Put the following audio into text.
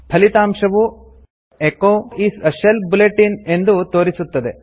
ಫಲಿತಾಂಶವು echo is a shell bulletin ಎಂದು ತೋರಿಸುತ್ತದೆ